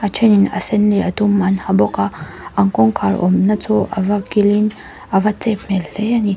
ṭhenin a sen leh a dum an ha bawk a an kawngkhar awmna chu ava kil in ava chep hmel hle a ni.